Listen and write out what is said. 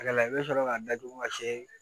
A la i bɛ sɔrɔ k'a datugu ka se